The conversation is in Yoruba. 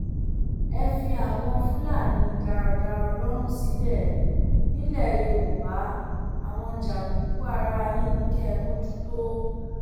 ẹ fi àwọn fúlàní darandaran lọrùn sílẹ nílẹ yorùbá àwọn jàǹdùkú àárín yín kí kẹ ẹ mójútó